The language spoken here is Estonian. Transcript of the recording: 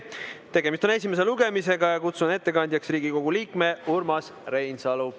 Tegemist on esimese lugemisega ja kutsun ettekandjaks Riigikogu liikme Urmas Reinsalu.